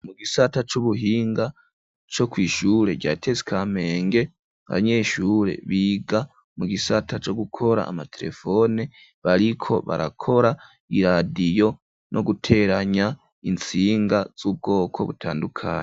Mu gisata c'ubuhinga co kwishure rya tesi Kamenge abanyeshuri biga mu gisata co gukora amaterefone, bariko barakora iradiyo no guteranya intsinga z'ubwoko butandukanye.